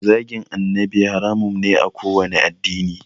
Zagin annabi haramun ne a kowanne addini